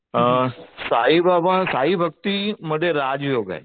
साईबाबा साईभक्तीमध्ये राज योग आहे.